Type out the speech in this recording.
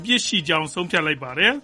ပြစ်ရှိကြောင်း တရားရုံးကဆုံးဖြတ်လိုက်ပါတယ်